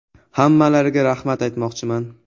Hammalariga rahmat aytmoqchiman.